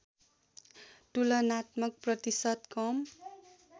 तुलनात्मक प्रतिशत कम